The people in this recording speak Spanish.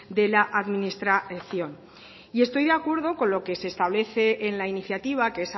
de la administración y estoy de acuerdo con lo que se establece en la iniciativa que